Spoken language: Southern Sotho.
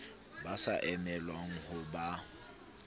ba sa emelwang ho ba